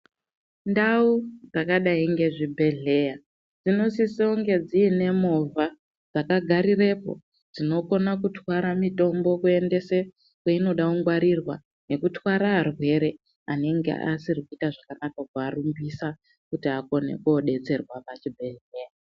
Ndau dzakadai ngezvibhedhlera dzinosise kunge dziine movha dzakagarirepo dzonokona kutwara mitombo kuendese kweinoda kungwarirwa nekutwara arwere anenge asiri kuita zvakanaka kuarumbisa kuti akone kudetserwa pachibhedhlera.